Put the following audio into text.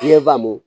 N ye faamu